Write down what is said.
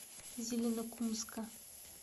зеленокумска